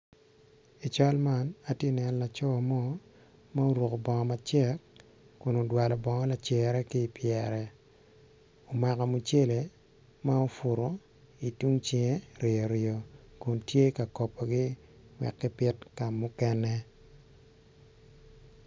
I cal man atye neno laco mo ma oruko bongo macek kun odwalo bongo lacere kipyere omako mucele ma opuro i tung cinge riyoriyo kun tye ka kobogi wek kipit kamukene.